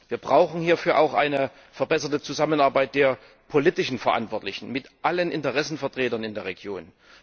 Wir brauchen hierfür auch eine verbesserte Zusammenarbeit der politisch Verantwortlichen mit allen Interessenvertretern in der Region.